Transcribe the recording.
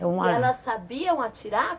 E elas sabiam atirar?